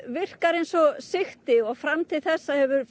virkar eins og sigti og fram til þessa hefur